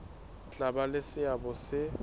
tla ba le seabo se